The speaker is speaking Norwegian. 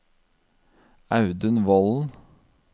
Audun Volden